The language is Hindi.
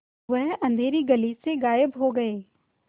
वह अँधेरी गली से गायब हो गए